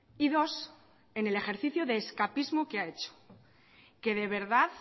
y dos en el ejercicio de escapismo que ha hecho que de verdad